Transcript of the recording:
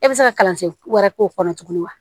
E bɛ se ka kalansen wɛrɛ k'o kɔnɔ tuguni wa